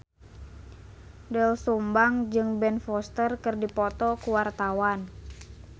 Doel Sumbang jeung Ben Foster keur dipoto ku wartawan